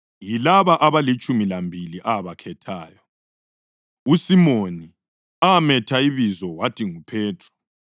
Yilaba abalitshumi lambili abakhethayo: uSimoni (ametha ibizo wathi nguPhethro),